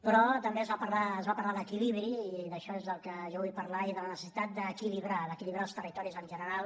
però també es va parlar d’equilibri i d’això és del que jo vull parlar i de la necessitat d’equilibrar d’equilibrar els territoris en general